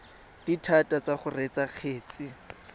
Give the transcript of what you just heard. dithata tsa go reetsa kgetse